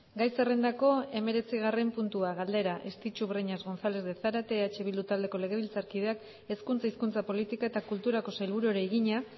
gai zerrendako hemeretzigarren puntua galdera estitxu breñas gonzález de zárate eh bildu taldeko legebiltzarkideak hezkuntza hizkuntza politika eta kulturako sailburuari egina